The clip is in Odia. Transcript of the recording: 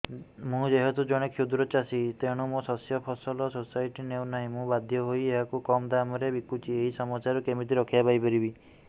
ମୁଁ ଯେହେତୁ ଜଣେ କ୍ଷୁଦ୍ର ଚାଷୀ ତେଣୁ ମୋ ଶସ୍ୟକୁ ଫସଲ ସୋସାଇଟି ନେଉ ନାହିଁ ମୁ ବାଧ୍ୟ ହୋଇ ଏହାକୁ କମ୍ ଦାମ୍ ରେ ବିକୁଛି ଏହି ସମସ୍ୟାରୁ କେମିତି ରକ୍ଷାପାଇ ପାରିବି